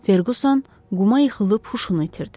Ferquson quma yıxılıb huşunu itirdi.